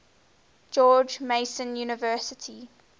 george mason university